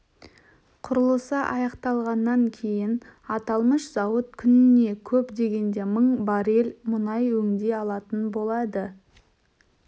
құрылысы аяқталғаннан кейін аталмыш зауыт күніне көп дегенде мың баррель мұнай өңдей алатын болады